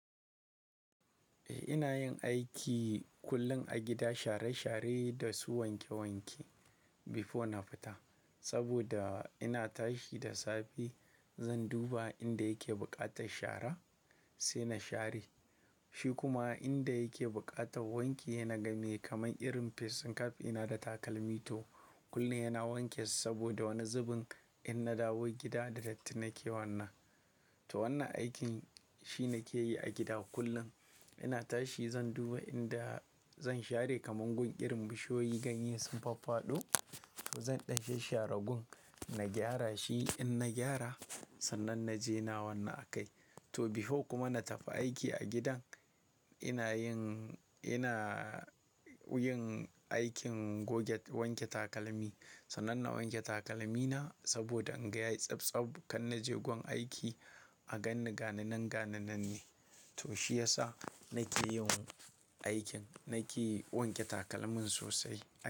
Eh ina yin aiki kullum a gida share share da su wanke wanke before na fita. Saboda ina tashi da safe zan duba inda yake buƙatar shara sai na share. Shi kuma inda yake buƙatar wanke yana game kamar irin fesin kaf ina da takalmi to kullum yana wanke su saboda wani zubin in na dawo gida da datti na ke wannan. To wannan aikin shi ne ke yi a gida kullum. Ina tashi zan duba inda zan share kamar gun irin bishiyoyi ganye sun faffado to zan dashe share gun na gyara shi in na gyara sannan na je na wannan a kai. To before kuma na tafi aiki a gidan ina yin ina yin aikin goge wanke takalmi. Sannan na wanke takalmi na saboda in ga yayi tsabtsab kan na je gun aiki a gan ni gani nan gani nan ne. To shi yasa na ke yin aikin na ke wanke takalmin sosai.